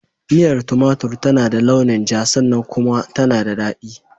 Miyar tumatur tana da launin ja sannan kuma tana da daɗi.